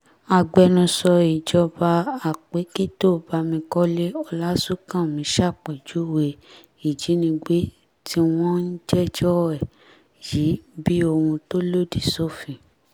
agbẹnusọ ìjọba àpèkìtò bámikọ́lé ọlásùnkànmí ṣàpèjúwe ìjínigbé tí wọ́n ń jẹ́jọ́ ẹ̀ yìí bíi ohun tó lòdì sófin